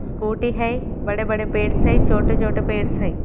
scooty हैं बड़े-बड़े पेड़ से छोटे-छोटे पेड़ से--